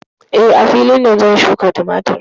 Eh, a filin nan ne zan shuƙa tumatur.